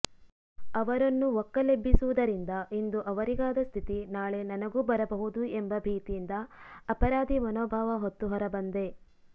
ಅವರನ್ನು ಒಕ್ಕಲೆಬ್ಬಿಸುವುದರಿಂದ ಇಂದು ಅವರಿಗಾದ ಸ್ಥಿತಿ ನಾಳೆ ನನಗೂ ಬರಬಹುದು ಎಂಬ ಭೀತಿಯಿಂದ ಅಪರಾಧಿ ಮನೋಭಾವ ಹೊತ್ತು ಹೊರಬಂದೆ